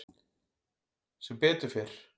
Sem betur fer